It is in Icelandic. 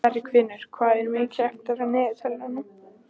Bergfinnur, hvað er mikið eftir af niðurteljaranum?